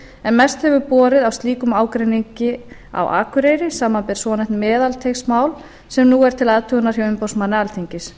en mest hefur borið á slíkum ágreiningi á akureyri samanber svonefnt meðalteigsmál sem nú er til athugunar hjá umboðsmanni alþingis